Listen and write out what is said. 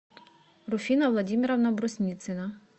руфина владимировна брусницына